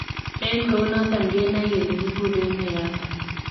En kounoton kenoe kele kiguren nee yotong.